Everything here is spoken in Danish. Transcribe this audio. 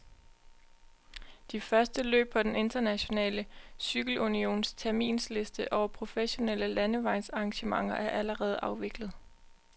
De første løb på den internationale cykelunions terminsliste over professionelle landevejsarrangementer er allerede afviklet.